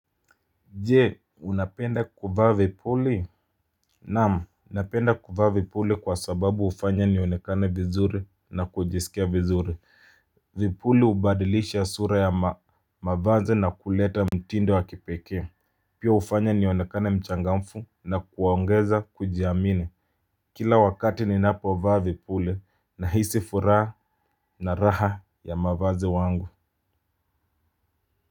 Je, unapenda kuvaa vipuli? Naam, napenda kuvaa vipuli kwa sababu hufanya nionekane vizuri na kujisikia vizuri. Vipuli hubadilisha sura ya mavazi na kuleta mtindo wa kipekee. Pia hufanya nionekane mchangamfu na kuongeza kujiamine. Kila wakati ninapo vaa vipuli nahisi furaha na raha ya mavaze wangu.